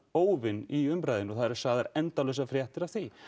óvin í umræðunni og það eru sagðar endalausar fréttir af því